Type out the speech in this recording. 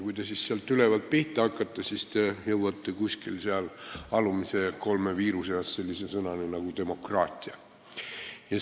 Kui te sealt ülevalt pihta hakkate, siis te jõuate kuskil seal alumise kolme viiru seas sellise sõnani nagu "demokraatia".